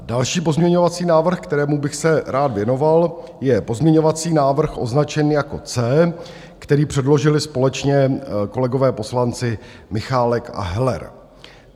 Další pozměňovací návrh, kterému bych se rád věnoval, je pozměňovací návrh označený jako C, který předložili společně kolegové poslanci Michálek a Heller.